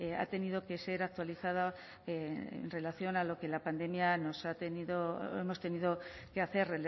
ha tenido que ser actualizada en relación a lo que la pandemia nos ha tenido o hemos tenido que hacer